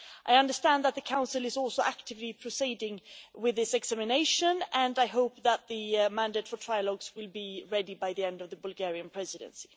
I understand that the Council is also actively proceeding with its examination, and I hope that the mandate for trilogues will be ready by the end of the Bulgarian Presidency.